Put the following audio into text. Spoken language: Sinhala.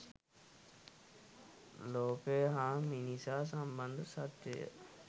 ලෝකය හා මිනිසා සම්බන්ධ සත්‍යය